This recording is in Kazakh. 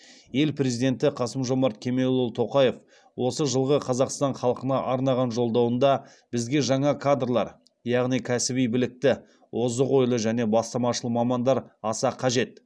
ел президенті қасым жомарт кемелұлы тоқаев осы жылғы қазақстан халқына арнаған жолдауында бізге жаңа кадрлар яғни кәсіби білікті озық ойлы және бастамашыл мамандар аса қажет